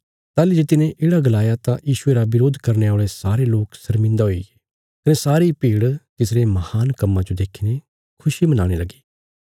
ताहली जे तिने येढ़ा गलाया तां यीशुये रा बरोध करने औल़े सारे लोक शर्मिन्दा हुईगे कने सारी भीड़ तिसरे महान कम्मां जो देखीने खुशी मनाणे लगी